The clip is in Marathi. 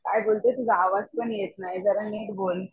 काय बोलते तुझा आवाज पण येत नाय जरा निट बोल